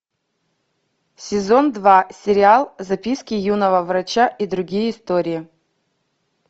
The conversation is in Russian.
сезон два сериал записки юного врача и другие истории